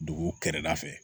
Dugu kɛrɛda fɛ